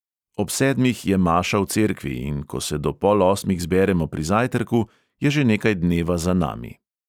Ob sedmih je maša v cerkvi, in ko se do pol osmih zberemo pri zajtrku, je že nekaj dneva za nami.